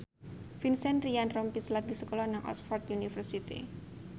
Vincent Ryan Rompies lagi sekolah nang Oxford university